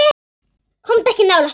Komdu ekki nálægt mér.